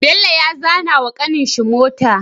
Bello ya zana wa kanin shi mota